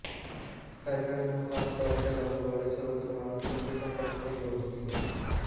ਫੈਲਣ ਨੂੰ ਖਾਸ ਤੌਰ ਤੇ ਲਾਗ ਵਾਲੇ ਸਰੋਤ ਨਾਲ ਸਿੱਧੇ ਸੰਪਰਕ ਦੀ ਲੋੜ ਹੁੰਦੀ ਹੈ